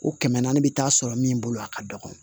O kɛmɛ naani bɛ taa sɔrɔ min bolo a ka dɔgɔ